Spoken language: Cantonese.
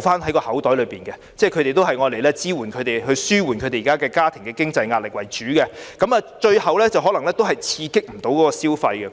在口袋中，希望用來支援他們的家庭經濟壓力為主，故可能最後也未能刺激消費。